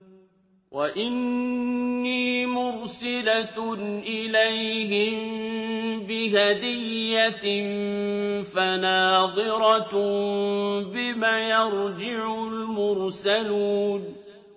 وَإِنِّي مُرْسِلَةٌ إِلَيْهِم بِهَدِيَّةٍ فَنَاظِرَةٌ بِمَ يَرْجِعُ الْمُرْسَلُونَ